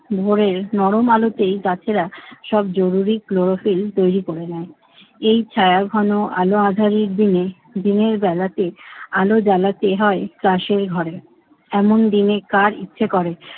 ভোরের নরম আলোতেই গাছেরা সব জরুরি ক্লোরোফিল তৈরি করে নেয়। এই ছায়াঘন আলো আঁধারির দিনে দিনের বেলাতে আলো জ্বালাতে হয় তাসের ঘরে। এমন দিনে কার ইচ্ছে করে